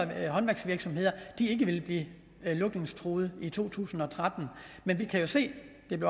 håndværksvirksomheder ikke ville blive lukningstruede i to tusind og tretten men vi kan jo se